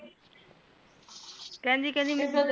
ਕਹਣਦੀ ਕਹਣਦੀ ਮੀਨੂ